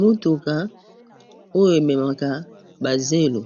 motuka oyo ememaka bazelo